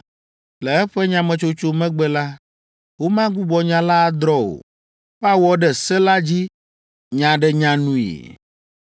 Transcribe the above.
Le eƒe nyametsotso megbe la, womagbugbɔ nya la adrɔ̃ o. Woawɔ ɖe se la dzi nyaɖenyanui.